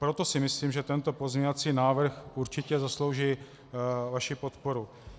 Proto si myslím, že tento pozměňovací návrh určitě zaslouží vaši podporu.